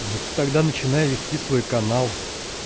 ну ты тогда начинай вести свой канал